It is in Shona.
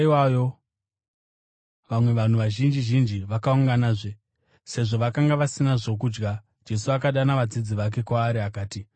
Mumazuva iwayo vamwe vanhu vazhinji zhinji vakaunganazve. Sezvo vakanga vasina zvokudya, Jesu akadana vadzidzi vake kwaari akati,